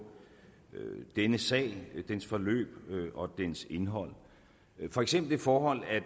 denne sag dens forløb og dens indhold for eksempel det forhold at